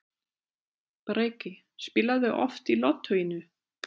Breki: Spilarðu oft í Lottóinu?